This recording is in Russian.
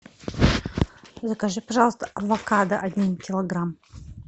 закажи пожалуйста авокадо один килограмм